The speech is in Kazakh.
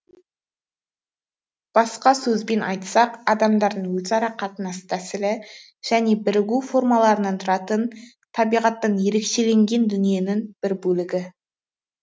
басқа сөзбен айтсақ адамдардың өзара қатынас тәсілі және бірігу формаларынан тұратын табиғаттан ерекшеленген дүниенің бір бөлігі